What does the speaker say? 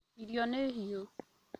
Irio nĩ hĩu